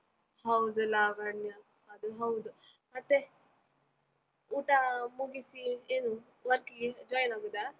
ಹೌದು ಲಾವಣ್ಯ, ಅದು ಹೌದು, ಮತ್ತೆ ಊಟ ಮುಗಿಸಿ ಏನು work ಗೆ join ಆಗುದ.